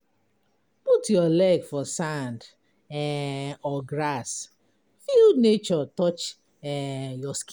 Put your leg for sand um or grass, feel nature touch um your skin.